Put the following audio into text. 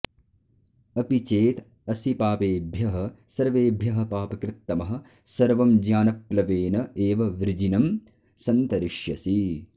अपि चेत् असि पापेभ्यः सर्वेभ्यः पापकृत्तमः सर्वं ज्ञानप्लवेन एव वृजिनं सन्तरिष्यसि